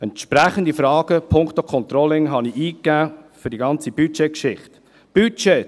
Ich habe entsprechende Fragen punkto Controlling für die ganze Budgetgeschichte eingegeben.